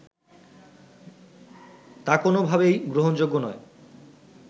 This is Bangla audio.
তা কোনোভাবেই গ্রহণযোগ্য নয়